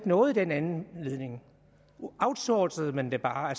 noget i den anledning outsourcede man det bare